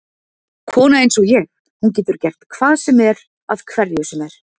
Kona einsog ég, hún getur gert hvað sem er að hverju sem er.